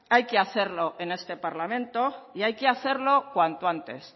hay que hacerlo en este parlamento y hay que hacerlo cuanto antes